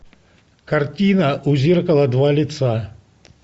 картина у зеркала два лица